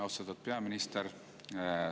Austatud peaminister!